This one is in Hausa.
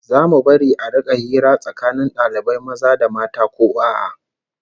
Zamu bari a rika hira tsakanin dalibai maza da mata ko a'a?